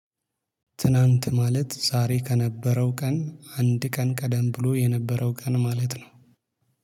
ትናንት ማለት ዛሬ ከነበረው ቀን አንድ ቀን ቀደም ብሎ የነበረው ቀን ማለት ነው